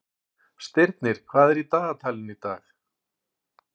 Stirnir, hvað er í dagatalinu í dag?